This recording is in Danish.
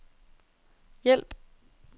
hjælp